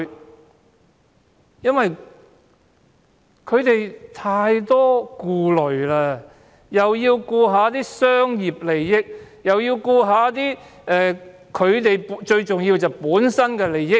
這個政府太多顧慮，既要顧及商業利益，又要顧及自身利益。